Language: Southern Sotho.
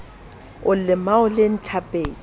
o lemao le ntlhapedi o